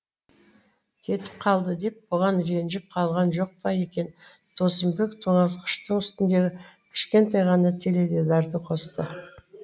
кетіп қалды деп бұған ренжіп қалған жоқ па екен досымбек тоңазытқыштың үстіндегі кішкентай ғана теледидарды қосты